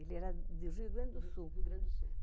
Ele era do Rio Grande do Sul.